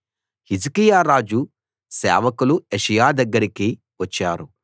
హిజ్కియా రాజు సేవకులు యెషయా దగ్గరికి వచ్చారు